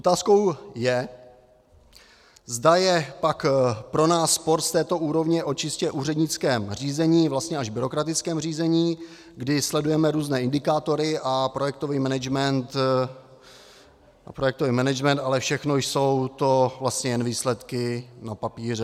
Otázkou je, zda je pak pro nás sport z této úrovně o čistě úřednickém řízení, vlastně až byrokratickém řízení, kdy sledujeme různé indikátory a projektový management, ale všechno jsou to vlastně jen výsledky na papíře.